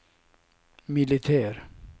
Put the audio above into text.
militär